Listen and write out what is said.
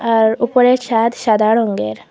আর উপরের ছাদ সাদা রঙ্গের ।